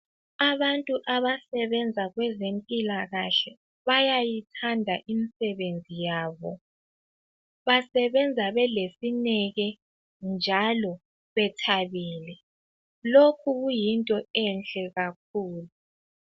Abantu abasebenza kwezempilakahle bayayithanda imisebenzi yabo. Basebenza belesineke njalo bethabile. Lokhu kuyinto enhle kakhulu.